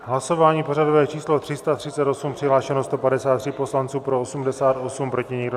Hlasování pořadové číslo 338, přihlášeno 153 poslanců, pro 88, proti nikdo.